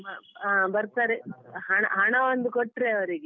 ಆ ಬರ್ತಾರೆ ಹಣ ಹಣ ಒಂದು ಕೊಟ್ರೆ ಅವರಿಗೆ.